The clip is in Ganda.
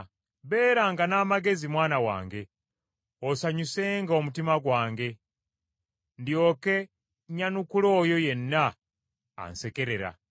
Beeranga n’amagezi mwana wange, osanyusenga omutima gwange, ndyoke nyanukule oyo yenna ansekerera.